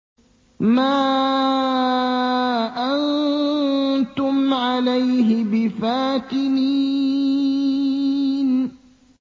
مَا أَنتُمْ عَلَيْهِ بِفَاتِنِينَ